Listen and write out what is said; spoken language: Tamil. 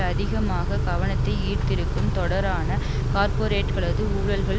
அதிகமாக கவனத்தை ஈர்த்திருக்கும் தொடரான கார்ப்பொரேட்டுகளது ஊழல்கள்